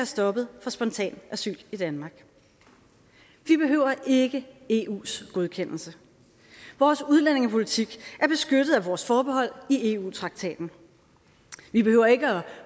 stoppet for spontan asyl i danmark vi behøver ikke eus godkendelse vores udlændingepolitik er beskyttet af vores forbehold i eu traktaten vi behøver ikke at